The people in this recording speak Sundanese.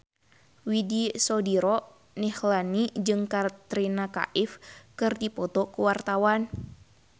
Widy Soediro Nichlany jeung Katrina Kaif keur dipoto ku wartawan